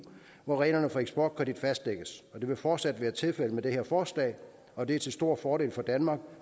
hvor reglerne for eksportkredit fastlægges det vil fortsat være tilfældet med det her forslag og det er til stor fordel for danmark